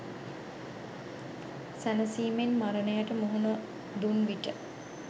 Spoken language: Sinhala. සැනසීමෙන් මරණයට මුහුණ දුන්විට